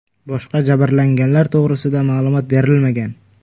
Boshqa jabrlanganlar to‘g‘risida ma’lumot berilmagan.